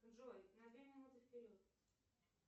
джой на две минуты вперед